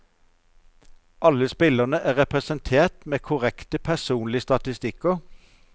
Alle spillerne er representert med korrekte personlige statistikker.